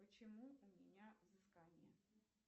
почему у меня взыскание